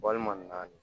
Walima naani